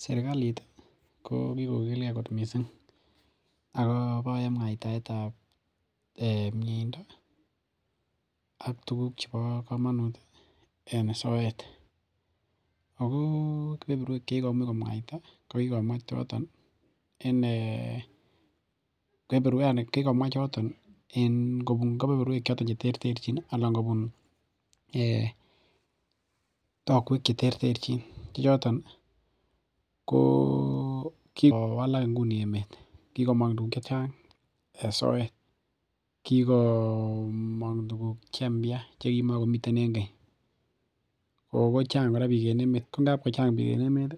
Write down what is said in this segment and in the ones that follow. Serkalit ih ko ki kokilge kot missing ako en muaitaetab miendo ih ak tuguk cheboo komanut en soet . Ako kebeeruak chekikomuch komwaita, ko kikomwa choton yaani ngobun kebeberuek cheterterchin anan kobun takuek cheterterchin, kioton ih , kokikowalak inguni emeet, kikowalakak tuguk chechang en soet , kukomong tuguk che mbia chekimogomiten en keny. Kochang kora bik en Emmet kochang bik en emeet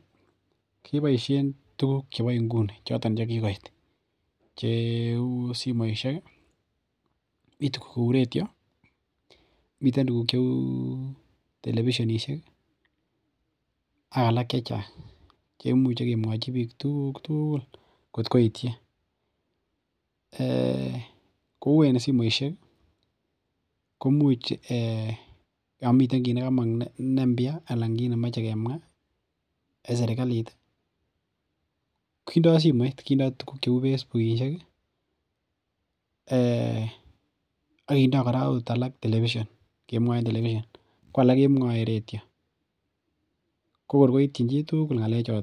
keboisien tuguk chebo inguni. choton chekikoit cheuu simoisiek ih , retio, miten tuguk cheuu telebisionisiek ak alak che chachang. Kemuche kemwachi bik tugul at koityi, um kouu en simoisiek komit ki nekomong ne [mbia] anan kit nemoyoche kemwa ih en serkalit ih kindoo simoit kindoo tuguk cheuu Facebookisiek ih ,um akindoo akothee alak telebision ko alak kemwae akot en retio.